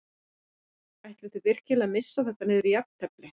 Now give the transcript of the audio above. Ætlið þið virkilega að missa þetta niður í jafntefli?